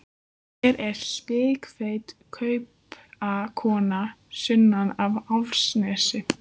Hér er spikfeit kaupakona sunnan af Álftanesi.